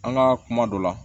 An ka kuma dɔ la